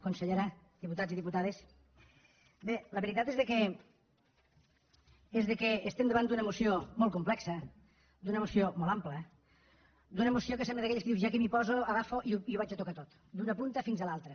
consellera diputats i diputades bé la veritat és que estem davant d’una moció molt complexa d’una moció molt àmplia d’una moció que sembla d’aquelles que dius ja que m’hi poso agafo i ho vaig a tocar tot d’una punta fins a l’altra